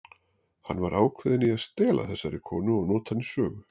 Hann var ákveðinn í að stela þessari konu og nota hana í sögu.